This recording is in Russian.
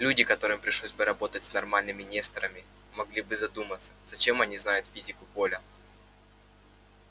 люди которым пришлось бы работать с нормальными несторами могли бы задуматься зачем они знают физику поля